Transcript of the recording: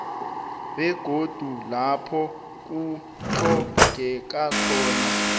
begodu lapho kutlhogekako